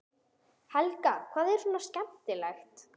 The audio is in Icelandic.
Helga: Hvað er svona skemmtilegt?